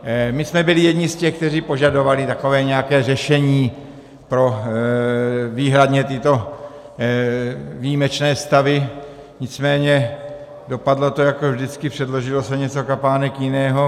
My jsme byli jedni z těch, kteří požadovali takové nějaké řešení pro výhradně tyto výjimečné stavy, nicméně dopadlo to jako vždycky, předložilo se něco kapánek jiného.